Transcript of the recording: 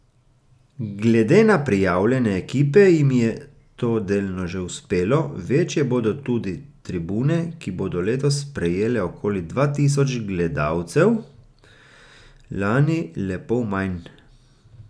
Glede na prijavljene ekipe jim je to delno že uspelo, večje bodo tudi tribune, ki bodo letos sprejele okoli dva tisoč gledalcev, lani le pol manj.